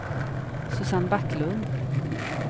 Susanne Backlund